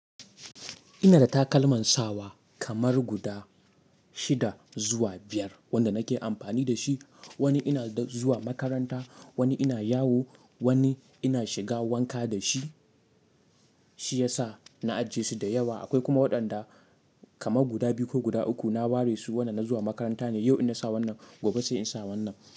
Ina da takalman sawa kamar guda shida zuwa biyar wanda nake amfani dashi. Wani ina zuwa makaranta, wani ina yawo, wani ina shiga wanka da shi. Shi ya sa na ajiye su da yawa. Akwai kuma waɗanda kamar guda biyu ko guda uku na ware su. Wannan na zuwa makaranta ne. Yau in na sa wannan gobe sai in sa wannan.